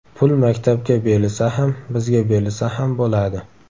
Pul maktabga berilsa ham, bizga berilsa ham bo‘ladi.